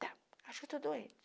Tá, acho que estou doente.